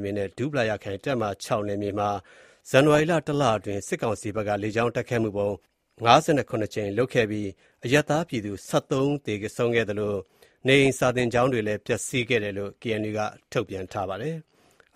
မြေနဲ့ ဒူးပလာယာခရိုင် ၊ တပ်မဟာ(၆)နယ်မြေမှာ ဇန်နဝါရီလ တစ်လအတွင်း စစ်ကောင်စီဘက်ကလေကြောင်း တိုက်ခိုက်မှုပေါင်း (၅၇)ကြိမ်လုပ်ခဲ့ပြီး၊ အရပ်သားပြည်သူ ၁၃ ဦး သေဆုံးခဲ့သလို နေအိမ်စာသင်ကျောင်းတွေလည်း ပျက်စီးခဲ့တယ်လို့ KNU က ထုတ်ပြန်ထားပါတယ်။